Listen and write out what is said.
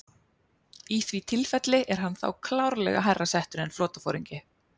Í því tilfelli er hann þá klárlega hærra settur en flotaforingi.